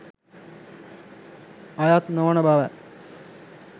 අයත් නොවන බවයි